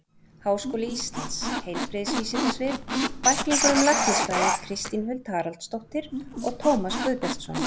Háskóli Íslands: Heilbrigðisvísindasvið- Bæklingur um læknisfræði Kristín Huld Haraldsdóttir og Tómas Guðbjartsson.